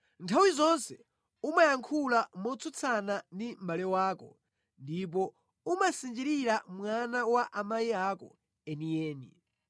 Nthawi zonse umayankhula motsutsana ndi mʼbale wako ndipo umasinjirira mwana wa amayi ako enieni.